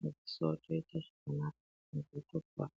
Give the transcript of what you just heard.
madziso otoite zvakanaka muntu otopora.